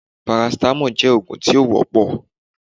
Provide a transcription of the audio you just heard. paracetamol jẹ òógun tí o wọpọ